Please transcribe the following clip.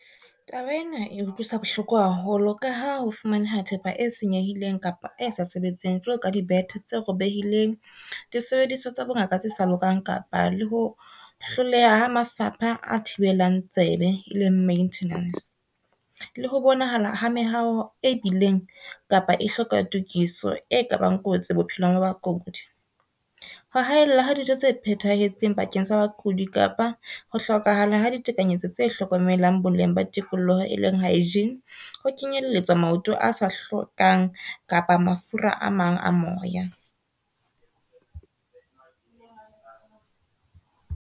Taba ena e utlwisa bohloko haholo ka ha ho fumaneha thepa e senyehileng kapa e sa sebetseng jwalo ka di bethe tse robehileng, disebediswa tsa bongaka tse sa lokang kapa le ho hloleha ha mafapha a thibelang tsebe e leng maintenance. Le ho bonahala ha mehawo e bileng kapa e hloka tokiso e kabang kotsi bophelong ba bakudi. Ho haellwa ha dijo tse phethahetseng bakeng sa bakudi kapa ho hlokahala ha ditekanyetso tse hlokomelang boleng ba tikoloho e leng hygiene, ho kenyelletswa maoto a sa hlwekang kapa mafura a mang a moya.